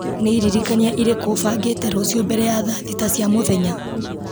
nĩ iririkania irĩkũ bangĩte rũciũ mbere ya thaa thita cia mũthenya